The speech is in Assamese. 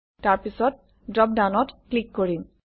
তাৰপিছত ড্ৰপডাউনত ক্লিক কৰিম